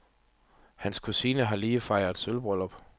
Hans kusine har lige fejret sølvbryllup.